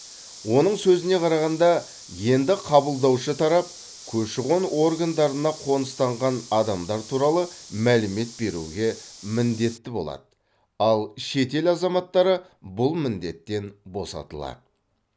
оның сөзіне қарағанда енді қабылдаушы тарап көші қон органдарына қоныстанған адамдар туралы мәлімет беруге міндетті болады ал шетел азаматтары бұл міндеттен босатылады